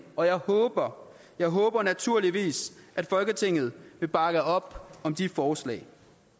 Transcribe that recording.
og jeg håber jeg håber naturligvis at folketinget vil bakke op om de forslag